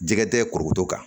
Jɛgɛ tɛ korokoto kan